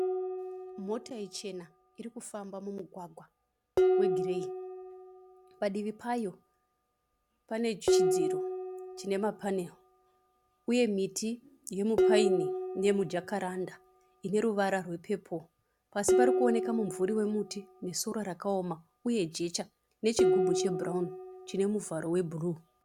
Mota ichena irikufamba mumugwaga we gireyi. Padivi payo pane chidziro chine ma panel uye miti yemupaini nemujakaranda ine ruwara rwe pepo. Pasi parikuoneka mumvuri wemuti nesora rakaoma uye jecha nechigubhu che bhurauni chine muvharo we bhuruu.